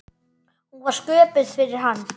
Hún var sköpuð fyrir hann.